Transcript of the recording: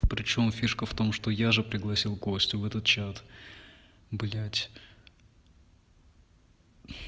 причём фишка в том что я же пригласил костю в этот чат блять